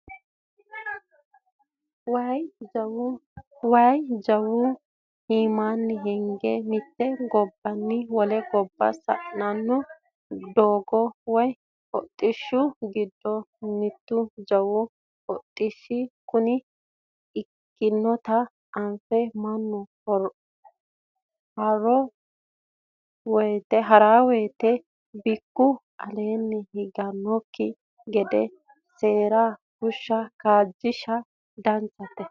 Waayi jawu iimani hige mite gobbanni wole gobba sa"ano doogo woyi hodhishshi giddo mitu jawau hodhishshi kone ikkinotta anfe mannu harano woyte bikku aleeni higanokki gede seera fusha kaajishsha danchate.